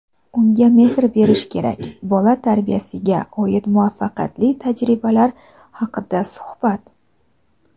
unga mehr berish kerak – bola tarbiyasiga oid muvaffaqiyatli tajribalar haqida suhbat.